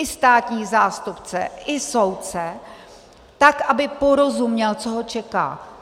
I státní zástupce, i soudce, tak aby porozuměl, co ho čeká.